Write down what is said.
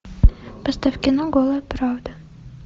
поставь кино голая правда